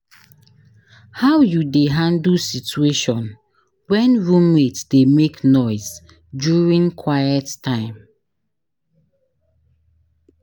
how you dey handle situation when roommate dey make noise during quiet time?